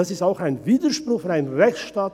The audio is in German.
Das ist auch ein Widerspruch im Rechtsstaat.